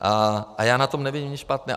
A já na tom nevidím nic špatného.